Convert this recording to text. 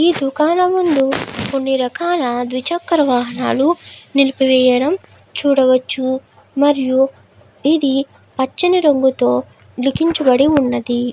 ఈ దుకాన ముందు కొన్ని రకాల ద్విచక్రవాహనాలు నీలిపి వేయడం చూడవచ్చు మరియు ఇది పచ్చని రంగుతో లిఖించబడి ఉన్నది.